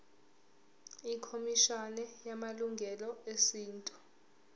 ikhomishana yamalungelo esintu